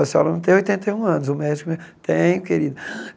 A senhora não tem oitenta e um anos, o médico... Tenho, querida.